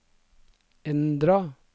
endra